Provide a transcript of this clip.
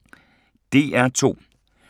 DR2